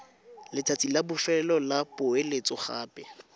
letsatsi la bofelo la poeletsogape